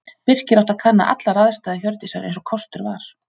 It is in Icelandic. Birkir átti að kanna allar aðstæður Hjördísar eins og kostur var.